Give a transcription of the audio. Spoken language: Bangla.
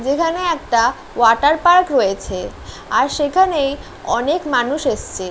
যেখানে একটা ওয়াটার পার্ক রয়েছে আর সেখানেই অনেক মানুষ এসছে।